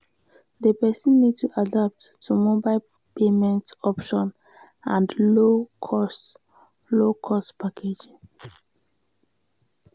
di person need to adapt to mobile payment option and low cost low cost packaging